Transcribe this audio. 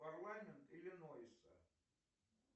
парламент иллинойса